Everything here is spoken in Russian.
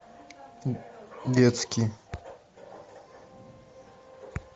детский